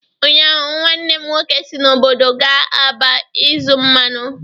Ụnyaahụ, nwanne m nwoke si n'obodo gaa Aba ịzụ mmanụ.